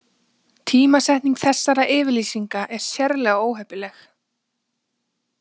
Tímasetning þessara yfirlýsinga er sérlega óheppileg